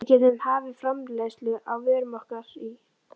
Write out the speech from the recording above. Við gætum hafið framleiðslu á vörum okkar í